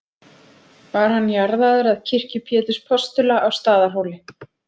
Var hann jarðaður að kirkju Péturs postula á Staðarhóli.